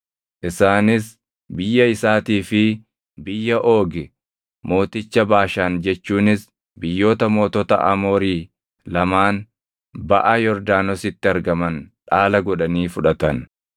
Isaanis biyya isaatii fi biyya Oogi mooticha Baashaan jechuunis biyyoota mootota Amoorii lamaan baʼa Yordaanositti argaman dhaala godhanii fudhatan.